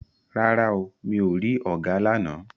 Rárá o, mi ò rí ọ̀gà lána.